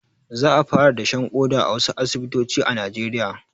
Za a fara dashen ƙoda a wasu asibitoci a najeriya